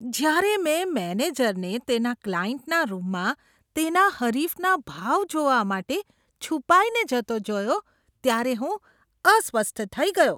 જ્યારે મેં મેનેજરને તેના ક્લાયન્ટના રૂમમાં તેના હરીફના ભાવ જોવા માટે છુપાઈને જતો જોયો ત્યારે હું અસ્વસ્થ થઈ ગયો.